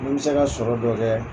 Mun bɛ se ka sɔrɔ dɔ kɛ.